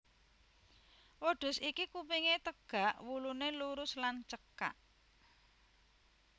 Wêdhus iki kupingé têgak wuluné lurus lan cêkak